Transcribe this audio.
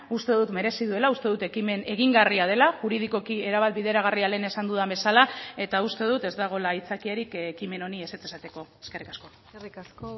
uste dut merezi duela uste dut ekimen egingarria dela juridikoki erabat bideragarria lehen esan dudan bezala eta uste dut ez dagoela aitzakiarik ekimen honi ezetz esateko eskerrik asko eskerrik asko